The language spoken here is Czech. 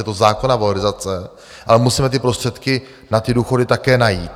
Je to zákonná valorizace, ale musíme ty prostředky na ty důchody také najít.